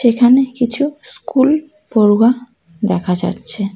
এখানে কিছু স্কুল পড়ুয়া দেখা যাচ্ছে।